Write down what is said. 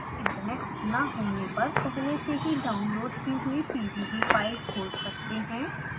internet से ना जुड़े होने पर आप पहले से ही डाउनलोड की हुई pdb फाइल खोल सकते हैं